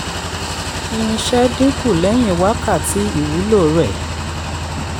irinṣẹ́ dínkù lẹ́yìn wákàtí ìwúlò rẹ̀.